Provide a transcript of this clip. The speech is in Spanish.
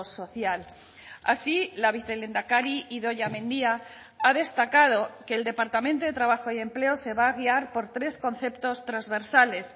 social así la vicelehendakari idoia mendia ha destacado que el departamento de trabajo y empleo se va a guiar por tres conceptos trasversales